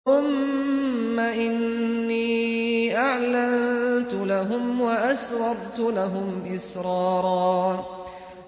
ثُمَّ إِنِّي أَعْلَنتُ لَهُمْ وَأَسْرَرْتُ لَهُمْ إِسْرَارًا